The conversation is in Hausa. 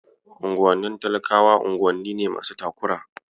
Unguwanni talakawa unguwanni ne masu takura.